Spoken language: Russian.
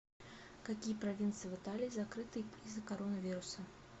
какие провинции в италии закрыты из за коронавируса